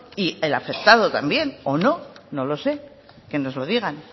y el afectado también o no no lo sé que nos lo digan